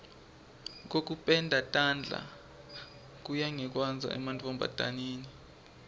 kokupenda tandla kuya ngekwandza emantfombataneni